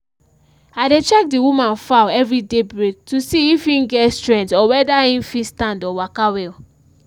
i dey check the woman fowl every day break to see if en get strength or whether en fit stand or waka well